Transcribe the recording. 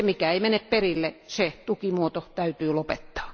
Ja se mikä ei mene perille, se tukimuoto täytyy lopettaa.